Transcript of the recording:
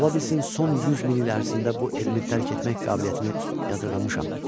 Ola bilsin son 100 min il ərzində bu elmi dərk etmək qabiliyyətini yadırğamışam.